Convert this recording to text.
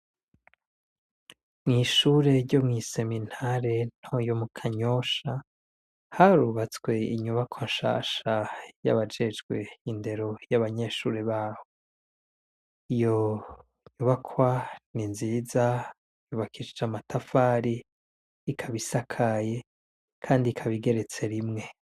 Mw'ishure ryo mw'isemintare ntoyo mu kanyosha harubatswe inyubako nshasha y'abajejwe indero y'abanyeshure baho iyo nyubakwa ni nziza yubakishija amatafari ikabisakaye, kandi kabigeretse rimwe.